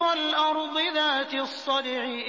وَالْأَرْضِ ذَاتِ الصَّدْعِ